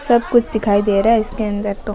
सब कुछ दिखाई दे रहा है इसके अंदर तो।